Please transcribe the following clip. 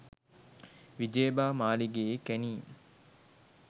විජයබා මාලිගයේ කැණීම්